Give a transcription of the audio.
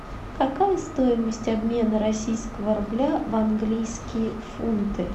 какая стоимость обмена российского рубля в английские фунты